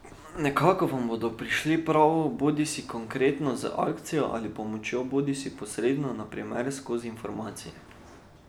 Nekako vam bodo prišli prav bodisi konkretno z akcijo ali pomočjo bodisi posredno, na primer skozi informacije.